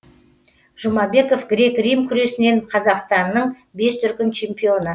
жұмабеков грек рим күресінен қазақстанның бес дүркін чемпионы